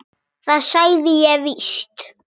Ég sagði það víst.